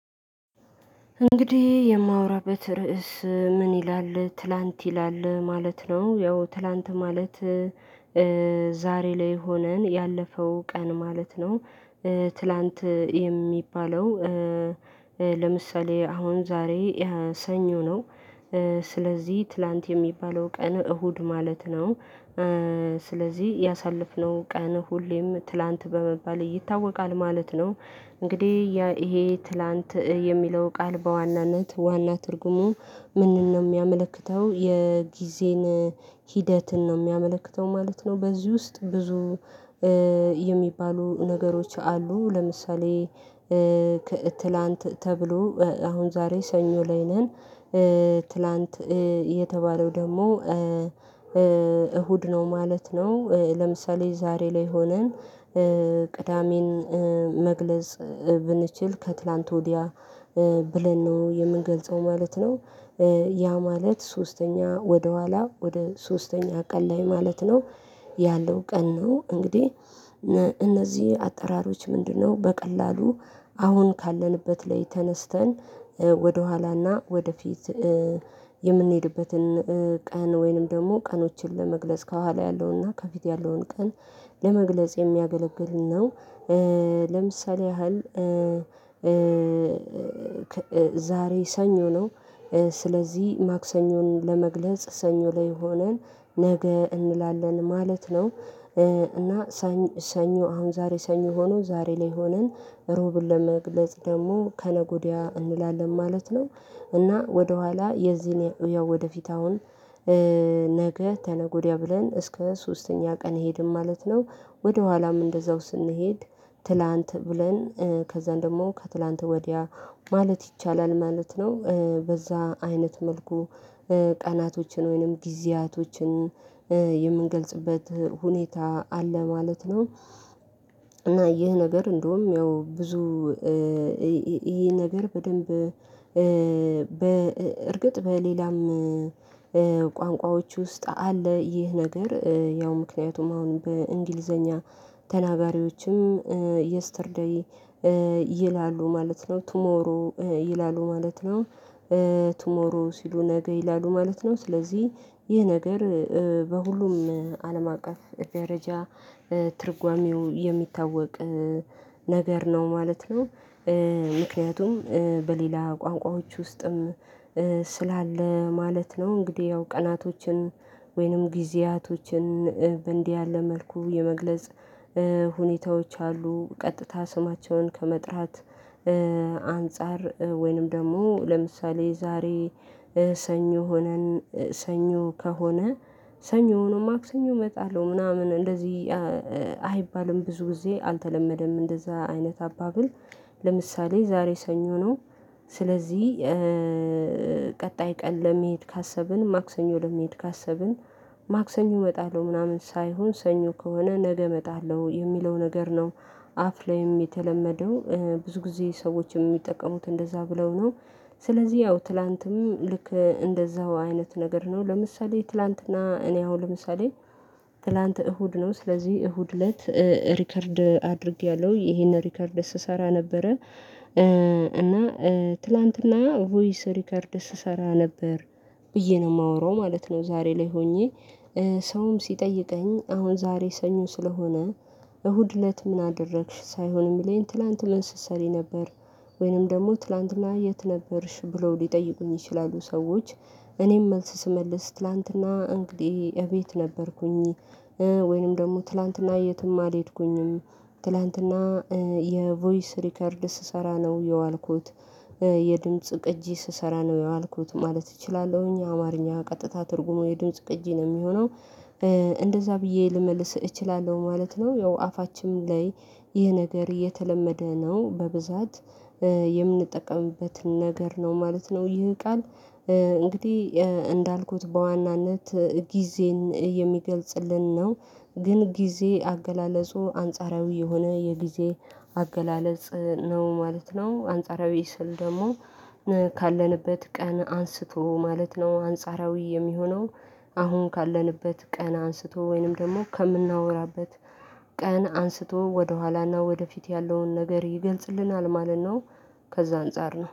እንግዲህ የማወራበት ርዕስ ምን ይላል ትላንት ይላል ማለት ነው ያው ትላንት ማለት ዛሬ ላይ ሆነን ያለፈው ቀን ማለት ነው። ትላንት የሚባለው። ለምሳሌ አሁን ዛሬ ያ ሰኞ ነው። ስለዚህ ትላንት የሚባለው ቀን እሁድ ማለት ነው። ስለዚህ ያሳለፍነው ቀን ሁሌም ትላንት በመባል ይታወቃል ማለት ነው። እንግዲህ ይሄ ትላንት የሚለው ቃል በዋናነት ዋና ትርጉሙ ምንድነው የሚያመለክተው የጊዜን ሂደትን ነው የሚያመለክተው ማለት ነው። በዚህ ውስጥ ብዙ የሚባሉ ነገሮች አሉ። ለምሳሌ ትላንት ተብሎ አሁን ዛሬ ሰኞ ላይ ነን። ትላንት የተባለው ደግሞ እሁድ ነው ማለት ነው። ለምሳሌ ዛሬ ላይ ሆነን ቅዳሜን መግለጽ ብንችል ከትላንት ወዲያ ብለን ነው የምንገልጸው ማለት ነው። ያ ማለት ሶስተኛ ወደ ኋላ ወደ ሶስተኛ ቀን ላይ ማለት ነው። ያለው ቀን ነው እንግዲህ። እነዚህ አጠራሮች ምንድነው በቀላሉ አሁን ካለንበት ላይ ተነስተን ወደኋላና ወደፊት የምንሄድበትን ቀን ወይንም ደግሞ ቀኖችን ለመግለጽ ከኋላ ያለውና ከፊት ያለውን ቀን ለመግለጽ የሚያገለግል ነው። ለምሳሌ ያህል ዛሬ ሰኞ ነው። ስለዚህ ማክሰኞን ለመግለጽ ሰኞ ላይ ሆነን ነገ እንላለን ማለት ነው። እና ሰኞ አሁን ዛሬ ሰኞ ሆኖ ዛሬ ላይ ሆነን ሮብን ለመግለጽ ደግሞ ከነጎዲያ እንላለን ማለት ነው። እና ወደኋላ የዚህን ወደፊት አሁን ነገ ተነገ ወዲያ ብለን እስከ ሶስተኛ ቀን እሄድን ማለት ነው። ወደኋላም እንደዛው ስንሄድ ትላንት ብለን ከዛን ደግሞ ከትላንት ወዲያ ማለት ይቻላል ማለት ነው። በዛ አይነት መልኩ ቀናቶችን ወይንም ጊዜያቶችን የምንገልጽበት ሁኔታ አለ ማለት ነው። እና ይህ ነገር እንደውም ያው ብዙ ይህ ነገር በደንብ በእርግጥ በሌላም ቋንቋዎች ውስጥ አለ ይህ ነገር ያው ምክንያቱም አሁን በእንግሊዘኛ ተናጋሪዎችም የስተር ዴይ ይላሉ ማለት ነው። ቱሞሮ ይላሉ ማለት ነው። ቲሞሮ ሲሉ ነገ ይላሉ ማለት ነው። ስለዚህ ይህ ነገር በሁሉም አለም አቀፍ ደረጃ ትርጓሜው የሚታወቅ ነገር ነው ማለት ነው። ምክንያቱም በሌላ ቋንቋዎች ውስጥም ስላለ ማለት ነው። እንግዲህ ያው ቀናቶችን ወይንም ጊዜያቶችን በእንዲህ ያለ መልኩ የመግለጽ ሁኔታዎች አሉ። ቀጥታ ስማቸውን ከመጥራት አንፃር ወይንም ደግሞ ለምሳሌ ዛሬ ሰኞ ሆነን ሰኞ ከሆነ ሰኞ ሆኖም ማክሰኞ እመጣለሁ ምናምን እንደዚህ አይባልም ብዙ ጊዜ አልተለመደም እንደዛ አይነት አባብል ለምሳሌ ዛሬ ሰኞ ነው። ስለዚህ ቀጣይ ቀን ለመሄድ ካሰብን ማክሰኞ ለመሄድ ካሰብን ማክሰኞ እመጣለሁ ምናምን ሳይሆን ሰኞ ከሆነ ነገ እመጣለሁ የሚለው ነገር ነው። አፍ ላይ የተለመደው ብዙ ጊዜ ሰዎችም የሚጠቀሙት እንደዛ ብለው ነው። ስለዚህ ያው ትላንትም ልክ እንደዛው አይነት ነገር ነው ለምሳሌ ትላንትና እኔ አሁን ለምሳሌ ትላንት እሁድ ነው ስለዚህ እሁድ ለት ሪከርድ አድርጌያለሁ ይሄንን ሪከርድ ስሰራ ነበረ እና ትላንትና ቮይስ ሪከርድ ስሰራ ነበር ብዬ ነው የማወራው ማለት ነው። ዛሬ ላይ ሆኜ ሰውም ሲጠይቀኝ አሁን ዛሬ ሰኞ ስለሆነ እሁድ እለት ምን አደረግሽ ሳይሆን የሚለኝ ትላንት ምን ስሰሪ ነበር? ወይንም ደግሞ ትላንትና የት ነበርሽ ብለው ሊጠይቁኝ ይችላሉ? ሰዎች እኔም መልስ ስመልስ ትላንትና እንግዲህ እቤት ነበርኩኝ። ወይንም ደግሞ ትላንትና የትም አልሄድኩኝም ትላንትና የቮይስ ሪከርድ ስሰራ ነው የዋልኩት። የድምጽ ቅጂ ስሰራ ነው የዋልኩት ማለት እችላለሁኝ አማርኛ ቀጥታ ትርጉሙ የድምጽ ቅጂ ነው የሚሆነው። እንደዛ ብዬ ልመልስ እችላለሁ ማለት ነው። ያው አፋችንም ላይ ይህ ነገር የተለመደ ነው በብዛት የምንጠቀምበት ነገር ነው ማለት ነው። ይህ ቃል እንግዲህ እንዳልኩት በዋናነት ጊዜን የሚገልጽልን ነው ግን ጊዜ አገላለጹ አንጻራዊ የሆነ የጊዜ አገላለጽ ነው ማለት ነው። አንጻራዊ ስል ደግሞ ካለንበት ቀን አንስቶ ማለት ነው አንጻራዊ የሚሆነው አሁን ካለንበት ቀን አንስቶ ወይንም ደግሞ ከምናወራበት ቀን አንስቶ ወደኋላና ወደፊት ያለውን ነገር ይገልጽልናል ማለት ነው። ከዛ አንፃር ነው